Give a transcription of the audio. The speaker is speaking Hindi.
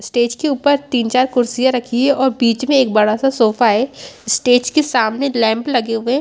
स्टेज के ऊपर तीन-चार कुर्सियां रखी है और बीच में एक बड़ा सा सोफा है स्टेज के सामने लैंप लगे हुए हैं।